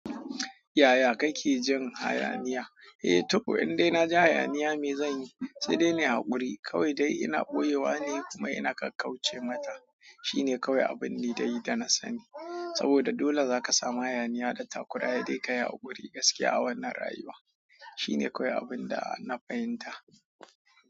Yaya kake jin hayaniya? Eh, to indai na ji hayaniya me zanyi? Sai dai na yi hakuri. Kawai dai ina boyewa ne kuma ina kakkaice mata. Shine kawai abin liɗayi da na sani. Saboda dole zaka samu hayaniya da takuraya sai dai ka yi haƙuri gaskiya a wannan rayuwa. Shine kawai abun da na fahimta.